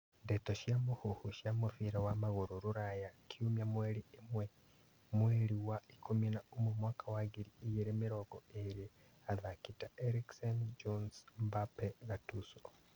Ndeto cia mũhuhu cia mũbira wa magũrũ Rũraya kiumia mweri ĩmwe mweri wa ikũmi na ũmwe mwaka wa ngiri igĩrĩ mĩrongo ĩrĩ athaki ta Eriksen, Jones, Mbappe, Gattuso